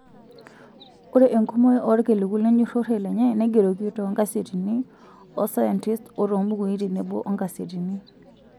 Ore enkumoi orkiliku lenjurore lenye neigeroki to nkasetini oo sayantist oo toombuki tenebo onkasetini.